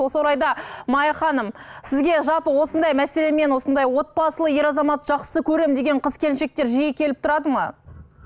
осы орайда мая ханым сізге жалпы осындай мәселемен осындай отбасылы ер азаматты жақсы көремін деген қыз келіншектер жиі келіп тұрады ма